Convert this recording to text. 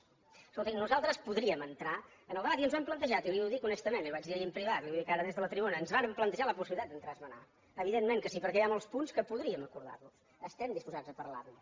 escolti nosaltres podríem entrar en el debat i ens ho hem plantejat i li ho dic honestament li ho vaig dir ahir en privat li ho dic ara des de la tribuna ens vàrem plantejar la possibilitat d’entrar a esmenar evidentment que sí perquè hi ha molts punts que podríem acordar los estem disposats a parlar ne